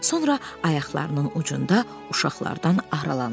Sonra ayaqlarının ucunda uşaqlardan aralandı.